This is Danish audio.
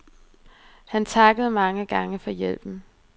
Han takkede mange gange for hjælpen.